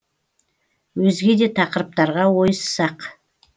өзге де тақырыптарға ойыссақ